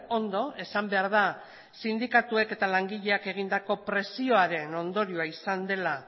ondo esan behar da sindikatuek eta langileek egindako presioaren ondorioa izan dela